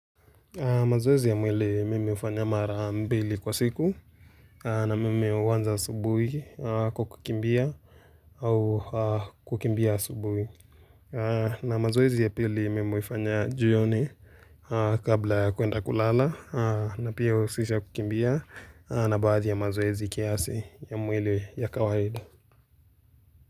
Mazoezi ya mwili mimi hufanya mara mbili kwa siku na mimi huanza asubuhi kwa kukimbia au kukimbia asubuhi. Na mazoezi ya pili mimi hufanya jioni kabla ya kuenda kulala na pia huhusisha kukimbia na baadhi ya mazoezi kiasi ya mwili ya kawaida.